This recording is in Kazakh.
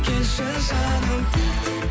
келші жаным